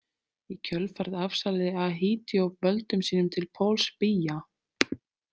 Í kjölfarið afsalaði Ahidjo völdum sínum til Pauls Biya.